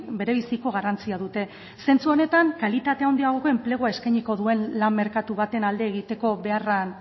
bere biziko garrantzia dute zentzu honetan kalitate handiagoko enplegua eskainiko duen lan merkatu baten alde egiteko beharrean